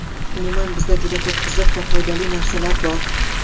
Umuman bizda juda ko‘p qiziq va foydali narsalar bor!